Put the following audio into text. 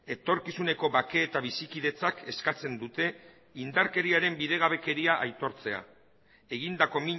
etorkizuneko bake eta bizikidetzak eskatzen dute indarkeriaren bidegabekeria aitortzea egindako